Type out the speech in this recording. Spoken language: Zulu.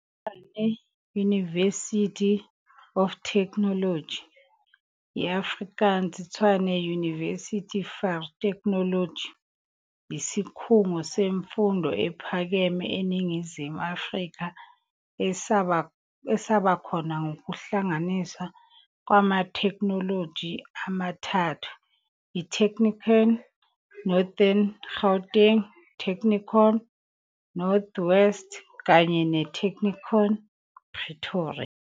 ITshwane University of Technology, i-Afrikaans- "iTshwane-Universiteit vir Tegnologie", yisikhungo semfundo ephakeme eNingizimu Afrika esaba khona ngokuhlanganiswa kwamatheknoloji amathathu - iTechnikon Northern Gauteng, Technikon North-West kanye neTechnikon Pretoria.